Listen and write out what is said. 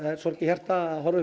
er sorg í hjarta að horfa